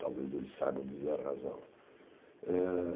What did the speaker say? Talvez eles saibam dizer a razão. Eh